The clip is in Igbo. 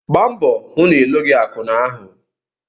Gba mbọ hụ na ịlụghị akwụna ahụ!